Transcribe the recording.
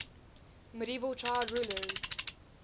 medieval child rulers